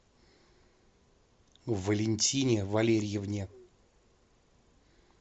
валентине валерьевне